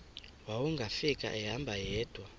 wawungafika ehamba yedwa